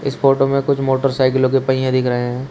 इस फोटो में कुछ मोटरसाइकिलों के पहिए दिख रहे हैं।